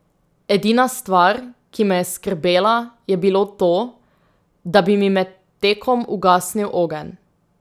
Edina stvar, ki me je skrbela, je bilo to, da bi mi med tekom ugasnil ogenj.